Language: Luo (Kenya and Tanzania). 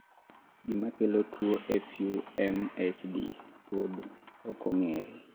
gimakelo tuwo FUMHD pod okong'ere